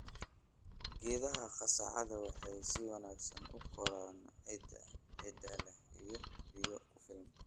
Geedaha qasacada waxay si wanaagsan u koraan ciidda ciidda leh iyo biyo ku filan.